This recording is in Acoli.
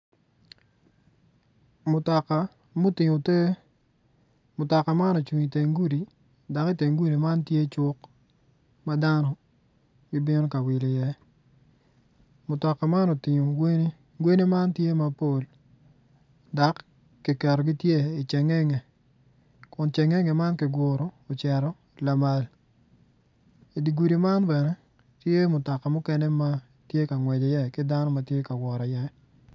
Mutoka mutingo ter mutoka man ocung i teng gudi dok teng gudi man tye cuk madno gibino ka wil i ye mutoka man otingo gweni gweni man tye mapol dok kiketogi gitye i cingenege